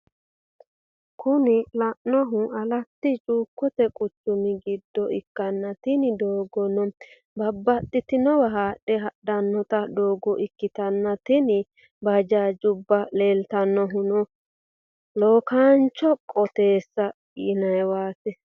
Kuni lelanohu alatti chukote quchumi gido ikana tini dogono babatitinowa hadhe adhanotta dogo ikitana tini bajajubba leliatnohino lokanichote qottesa yiniwatti.